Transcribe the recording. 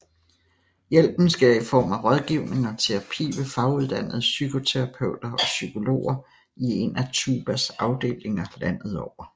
Hjælpen sker i form af rådgivning og terapi ved faguddannede psykoterapeuter og psykologer i en af TUBAs afdelinger landet over